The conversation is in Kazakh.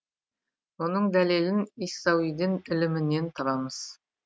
мұның дәлелін иассауиден ілімінен табамыз